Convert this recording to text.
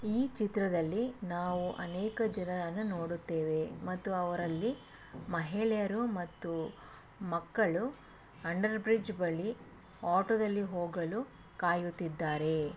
ಈ ಚಿತ್ರದಲ್ಲಿ ನಾವು ಅನೇಕ ಜನರನ್ನು ನೋಡುತ್ತೇವೆ ಮತ್ತು ಅವರಲ್ಲಿ ಮಹಿಳೆಯರು ಮತ್ತು ಮಕ್ಕಳು ಅಂಡರ್ ಬ್ರಿಡ್ಜ್ ಬಳಿ ಆಟೋದಲ್ಲಿ ಹೋಗಲು ಕಾಯುತ್ತಿದ್ದಾರೆ.